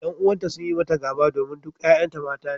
Yan uwanta sun yi mata gaba domin duk 'ya'yanta mata ne